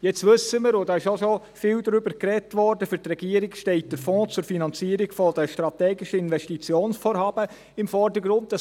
Jetzt wissen wir – und darüber wurde auch schon viel gesprochen –, dass für die Regierung der Fonds zur Finanzierung der strategischen Investitionsvorhaben im Vordergrund steht.